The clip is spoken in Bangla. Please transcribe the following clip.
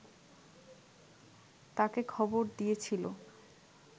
তাঁকে খবর দিয়েছিল